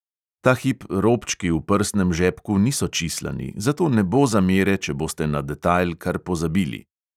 Ta hip robčki v prsnem žepku niso čislani, zato ne bo zamere, če boste na detajl kar pozabili.